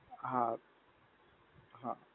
હા. હા.